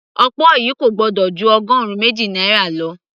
okpor yìí kò gbọ́dọ̀ ju ọgọrun méjì náírà lọ